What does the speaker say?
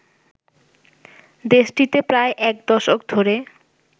দেশটিতে প্রায় এক দশক ধরে